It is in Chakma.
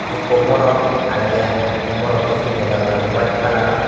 ikko morot agede i te morotto pinnede olede white colour.